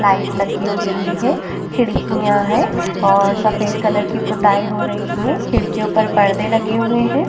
Light लगी हुई है। खिड्किया है और सफ़ेद कलर की पोथायी हो रही है। खिड्कियों पर परदे लगे हुए है।